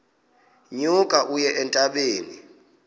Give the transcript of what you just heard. nyuka uye entabeni